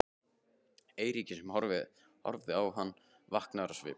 Eiríki sem horfði á hann, vankaður á svip.